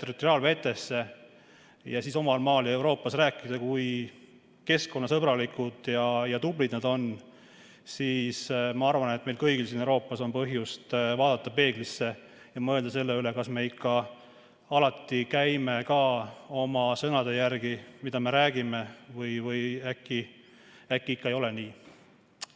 territoriaalvetesse, et omal maal ja Euroopas rääkida, kui keskkonnasõbralikud ja tublid nad on, siis ma arvan, et meil kõigil siin Euroopas on põhjust vaadata peeglisse ja mõelda selle üle, kas me ikka alati käime oma sõnade järgi, mida me räägime, või äkki ei ole nii.